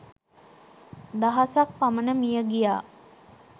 දහසක් පමණ මියගියා